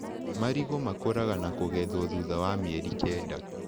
Marigũ makũraga na kũgethwo thutha wa mĩeri kenda.